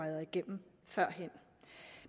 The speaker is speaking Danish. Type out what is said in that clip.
igennem førhen